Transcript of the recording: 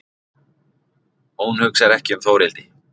Hún hugsar ekki um Þórhildi.